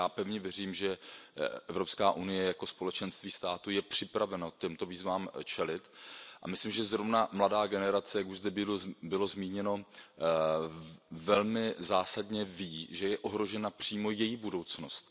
Já pevně věřím, že EU jako společenství států je připravena těmto výzvám čelit a myslím, že zrovna mladá generace, jak už zde bylo zmíněno, velmi zásadně ví, že je ohrožena přímo její budoucnost.